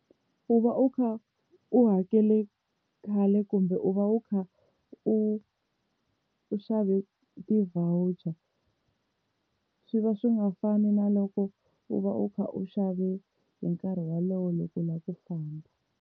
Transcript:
U va u kha u hakele khale kumbe u va u kha u u xave ti-voucher, swi va swi nga fani na loko u va u kha u xave hi nkarhi wolowo loko u lava ku famba.